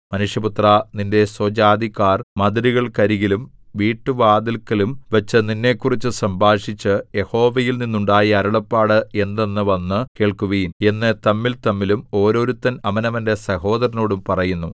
മനുഷ്യപുത്രാ നിന്റെ സ്വജാതിക്കാർ മതിലുകൾക്കരികിലും വീട്ടുവാതില്‍ക്കലും വച്ച് നിന്നെക്കുറിച്ച് സംഭാഷിച്ച് യഹോവയിൽ നിന്നുണ്ടായ അരുളപ്പാട് എന്തെന്ന് വന്നു കേൾക്കുവിൻ എന്ന് തമ്മിൽതമ്മിലും ഓരോരുത്തൻ അവനവന്റെ സഹോദരനോടും പറയുന്നു